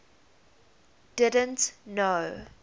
didn t know